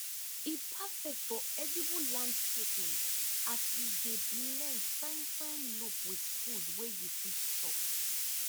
e perfect for edible landscaping as e dey blend fine fine look with food wey you fit chop